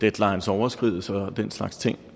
deadlines overskrides og den slags ting